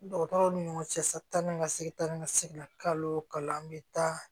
Dɔgɔtɔrɔw ni ɲɔgɔn cɛ sa tan ni ka segin tan ni ka segin kalo bɛ taa